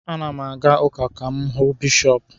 Ana m aga ụka ka m hụ Bishọp